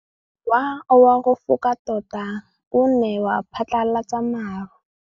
Mowa o wa go foka tota o ne wa phatlalatsa maru.